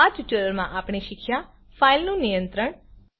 આ ટ્યુટોરીયલમાં આપણે શીખ્યા ફાઈલનું નિયંત્રણ